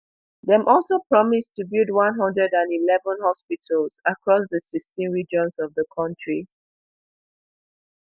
dem also promise to build one hundred and eleven hospitals across di sixteen regions of di kontri